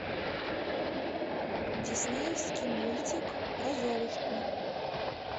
диснеевский мультик про золушку